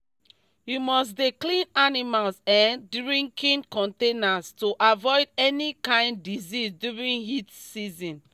you must dey clean animals um drinking containers to avoid any kind disease during heat season